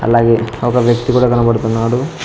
అలాగే ఒక వ్యక్తి కూడా కనబడుతున్నాడు.